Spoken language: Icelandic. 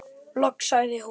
Loks sagði hún: